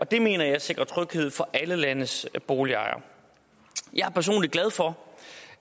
det mener jeg sikrer tryghed for alle landets boligejere jeg er personligt glad for